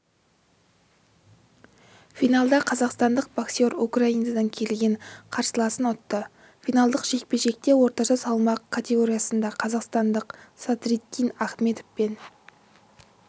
финалда қазақстандық боксер украинадан келген қарсыласын ұтты финалдық жекпе-жекте орташа салмақ категориясында қазақстандық садриддин ахмедов пен